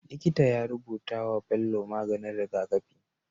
Likita ya rubutawa Bello maganin rigakafi